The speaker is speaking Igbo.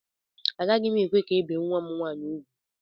Agaghị m ekwe ka ebee nwa m nwaanyị ugwu.